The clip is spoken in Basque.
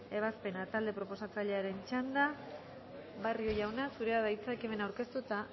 ebazpena talde proposatzailearen txanda barrio jauna zurea da hitza ekimena aurkeztu eta